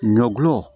Ɲɔ gulɔ